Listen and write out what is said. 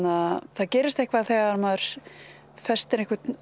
það gerist eitthvað þegar maður festir